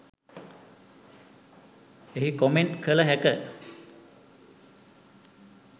එහි කොමෙන්ට් කළ හැක.